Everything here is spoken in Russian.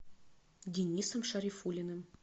денисом шарифуллиным